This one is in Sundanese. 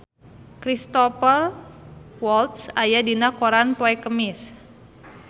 Cristhoper Waltz aya dina koran poe Kemis